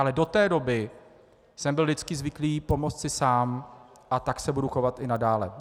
Ale do té doby jsem byl vždycky zvyklý pomoct si sám a tak se budu chovat i nadále.